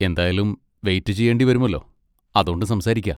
എന്തായാലും വെയിറ്റ് ചെയേണ്ടി വരുമല്ലോ, അതോണ്ട് സംസാരിക്കാ.